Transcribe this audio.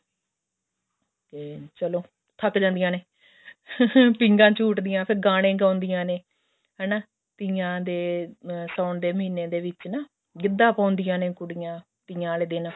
ਤੇ ਚਲੋ ਥੱਕ ਜਾਂਦੀਆਂ ਨੇ ਪੀਂਘਾਂ ਝੂਟਦੀਆਂ ਨੇ ਫ਼ੇਰ ਗਾਣੇ ਗਾਉਂਦੀਆਂ ਨੇ ਹਨਾ ਤੀਆਂ ਦੇ ਸਾਉਣ ਦੇ ਮਹੀਨੇ ਦੇ ਵਿੱਚ ਨਾ ਗਿੱਧਾ ਪਾਉਂਦੀਆਂ ਨੇ ਕੁੜੀਆਂ ਤੀਆਂ ਵਾਲੇ ਦਿਨ